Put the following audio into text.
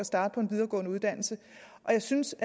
starte på en videregående uddannelse jeg synes